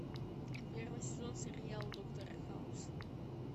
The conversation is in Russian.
первый сезон сериал доктор хаус